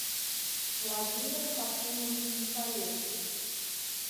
владимир хашимович михалевич